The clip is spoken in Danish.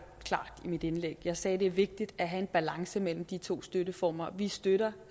klart i mit indlæg jeg sagde det er vigtigt at have en balance mellem de to støtteformer vi støtter